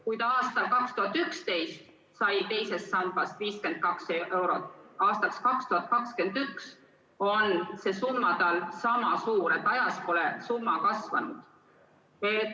Kui ta aastal 2011 sai teisest sambast 52 eurot aastas, siis aastaks 2021 on see summa tal sama suur, seega ajas pole summa kasvanud.